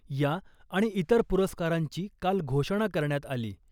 या आणि इतर पुरस्कारांची काल घोषणा करण्यात आली .